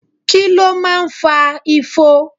Kí ló máa ń fa ifo?